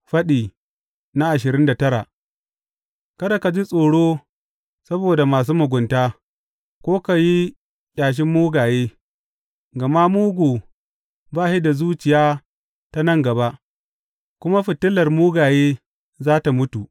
Faɗi ashirin da tara Kada ka ji tsoro saboda masu mugunta ko ka yi ƙyashin mugaye, gama mugu ba shi da zuciya ta nan gaba, kuma fitilar mugaye za tă mutu.